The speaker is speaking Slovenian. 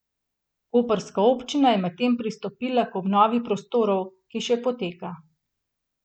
Koprska občina je medtem pristopila k obnovi prostorov, ki še poteka.